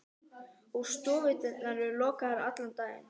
Og stofudyrnar eru lokaðar allan daginn.